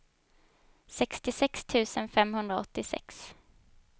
sextiosex tusen femhundraåttiosex